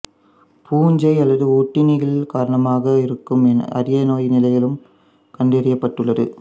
பூஞ்சை அல்லது ஒட்டுண்ணிகள் காரணமாயிருக்கும் அரிய நோய் நிலைகளும் கண்டறியப்பட்டுள்ளது